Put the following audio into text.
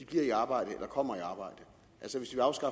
bliver i arbejde eller kommer i arbejde altså